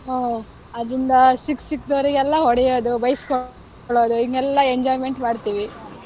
ಹ್ಮ್, ಅದ್ರಿಂದ ಸಿಕ್ ಸಿಕ್ದೋರಿಗೆಲ್ಲ ಹೊಡಿಯೋದು, ಬೈಸ್ಕೊಳೋದು ಹೀಗೆಲ್ಲ enjoyment ಮಾಡ್ತೀವಿ.